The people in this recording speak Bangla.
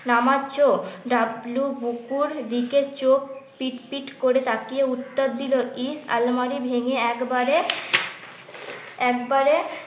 নামাচ্ছো, ডাবলু বুকুর দিকে চোখ পিটপিট করে তাকিয়ে উত্তর দিল ইস আলমারি ভেঙে একবারে একবারে